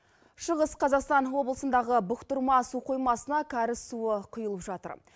шығыс қазақстан облысындағы бұқтырма су қоймасына кәріз суы құйылып жатыр